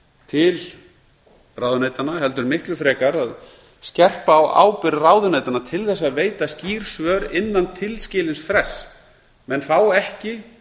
til ráðuneytanna heldur miklu frekar að skerpa á ábyrgð ráðuneytanna til þess að veita skýr svör innan tilskilins frests menn fá ekki